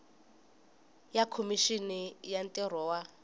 ya khomixini ya ntirho wa